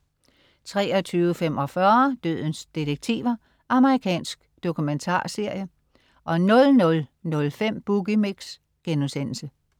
23.45 Dødens detektiver. Amerikansk dokumentarserie 00.05 Boogie Mix*